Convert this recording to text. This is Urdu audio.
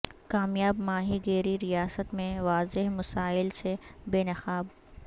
کامیاب ماہی گیری ریاست میں واضح مسائل سے بے نقاب